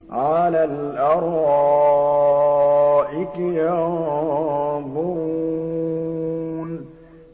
عَلَى الْأَرَائِكِ يَنظُرُونَ